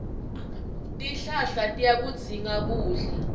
tihlahla tiyakudzinga kudla